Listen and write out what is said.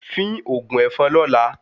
Fín ògùn èfọn lọ́la